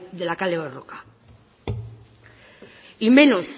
de la kale borroka y menos